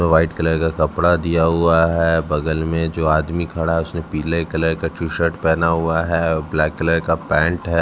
White colour का कपड़ा दिया हुआ है बगल में जो आदमी खड़ा है उसने पीले कलर का टी शर्ट पहना हुआ है ब्लैक कलर का पैंट है।